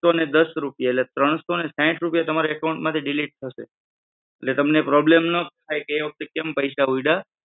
એકસો અને દસ રૂપિયા એટલે ત્રણસો અને સાઈઠ તમારા account માંથી delete થશે. એટલે તમને problem ન થાય કે એના કેમ પૈસા ઉયડા.